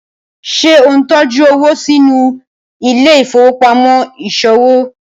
ṣe o ntọjú owo sínú Ile-ifowopamọ iṣowo?